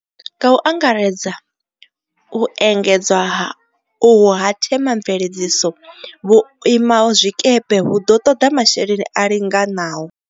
Nga u angaredza u engedzwa uhu ha themamvele dziso vhuimazwikepe hu ḓo ṱoḓa masheleni a linganaho.